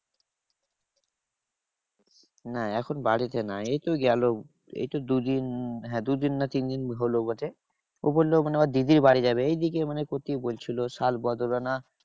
না এখন বাড়িতে নাই। এইতো গেলো এইতো দু দিন হ্যাঁ দু দিন না তিন দিন হলো বটে। ও বললো মানে ওর দিদির বাড়ি যাবে। এইদিকে মানে কোথায় বলছিলো শালবদরা না